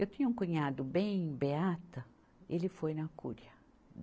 Eu tinha um cunhado bem beata, ele foi na cúria.